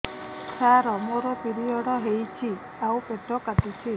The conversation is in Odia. ସାର ମୋର ପିରିଅଡ଼ ହେଇଚି ଆଉ ପେଟ କାଟୁଛି